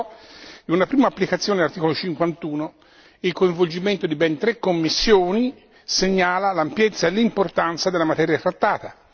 Si trattò di una prima applicazione dell'articolo 51 e il coinvolgimento di ben tre commissioni segnala l'ampiezza e l'importanza della materia trattata.